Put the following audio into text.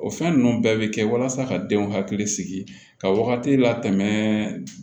O fɛn ninnu bɛɛ bɛ kɛ walasa ka denw hakili sigi ka wagati la tɛmɛ